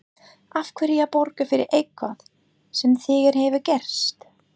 Af hverju að borga fyrir eitthvað sem þegar hefur gerst?